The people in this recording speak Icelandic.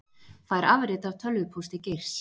Fær afrit af tölvupósti Geirs